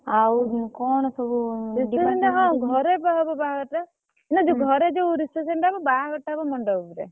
Reception ଟା କଣ ଘରେ ବା ହବ ବାହାଘର ଟା ନା ଯୋଉ ଘରେ ଯୋଉ reception ଟା ହବ ବାହାଘର ଟା ହବ ମଣ୍ଡପ୍ ରେ।